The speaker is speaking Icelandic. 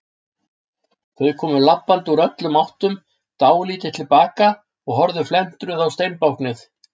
Þau komu labbandi úr öllum áttum, dáldið til baka og horfðu felmtruð á steinbáknið.